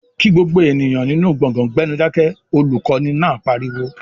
"Kí gbogbo ènìyàn nínú gbọ̀gán gbẹ́nú Dákẹ́!", olùkọ́ni náà pariwo